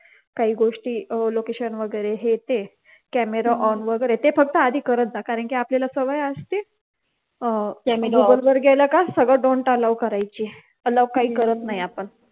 काही गोष्टी location वगैरे हे ते camera on वैगेरे ते फक्त आधी करत जा कारण कि आपल्याला सवय असते गूगल वर गेलं का सगळं don't allow करायची allow काही करत नाही आपण